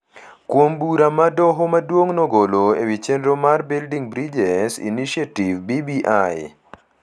kuom bura ma Doho Maduong’ nogolo e wi chenro mar Building Bridges Initiative (BBI),